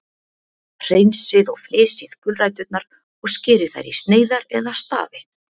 Hreinsið og flysjið gulræturnar og skerið þær í sneiðar eða stafi.